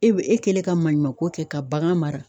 E be e kɛlen ka maɲumanko kɛ ka bagan mara